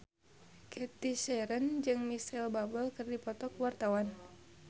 Cathy Sharon jeung Micheal Bubble keur dipoto ku wartawan